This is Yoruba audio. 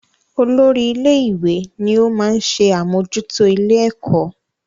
Olórí ilé-ìwé ni ó máa ń ṣe àmójútó ilé-ẹ̀kọ́